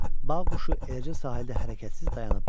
Bağ quşu eləcə sahildə hərəkətsiz dayanıb durdu.